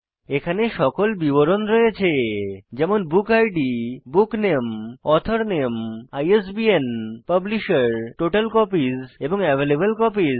এখানে সকল বিবরণ রয়েছে যেমন বুক ইদ বুকনামে অথর নামে আইএসবিএন পাবলিশের টোটাল কপিস এবং অ্যাভেইলেবল কপিস